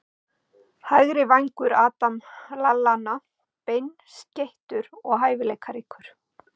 Hægri vængur- Adam Lallana Beinskeyttur og hæfileikaríkur.